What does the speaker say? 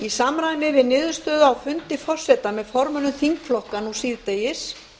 í samræmi við niðurstöðu á fundi forseta með formönnum þingflokka nú síðdegis